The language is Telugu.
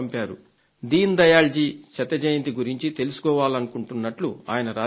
దీన్ దయాళ్ జీ శత జయంతిని గురించి తెలుసుకోవాలనుకుంటున్నట్టు ఆయన రాశారు